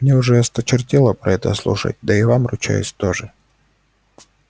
мне уже осточертело про это слушать да и вам ручаюсь тоже